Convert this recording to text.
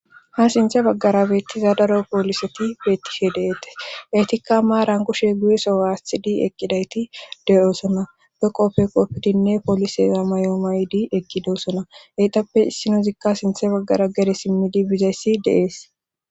Ha sinthe baggara beettiza daro pooliseti beettishe deetes eytikka maa rankoshe guyeso aasthidi eqqidayti de'oosona be qopfe qopfidinne pooliseza mayoo maydi eqqidoosona eyxappe issinozikka sinthe baggara gere simmidi bizayssi deees.